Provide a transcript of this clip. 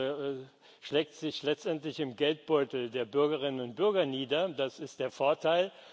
Das schlägt sich letztendlich im Geldbeutel der Bürgerinnen und Bürger nieder, das ist der Vorteil.